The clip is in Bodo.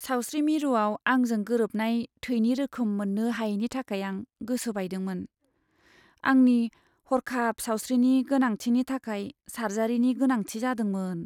सावस्रि मिरुआव आंजों गोरोबनाय थैनि रोखोम मोन्नो हायैनि थाखाय आं गोसो बायदोंमोन। आंनि हरखाब सावस्रिनि गोनांथिनि थाखाय सार्जारिनि गोनांथि जादोंमोन।